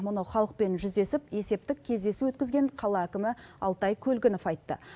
мұны халықпен жүздесіп есептік кездесу өткізген қала әкімі алтай көлгінов айтты